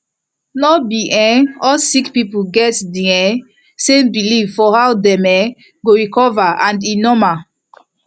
no be um all sick people get di um same belief for how dem um go recover and e normal